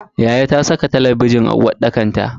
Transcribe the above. Yayata ta saka talabijin a uwarɗakar ta.